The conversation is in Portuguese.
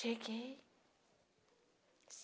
Cheguei.